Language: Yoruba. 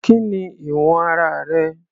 Kí ni ìwọ̀n ara rẹ̀?